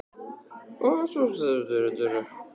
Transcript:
En því skyldi það vera nauðsynlegt?